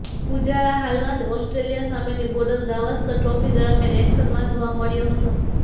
પૂજારા હાલમાં જ ઓસ્ટ્રેલિયા સામેની બોર્ડર ગાવસ્કર ટ્રોફી દરમિયાન એક્શનમાં જોવા મળ્યો હતો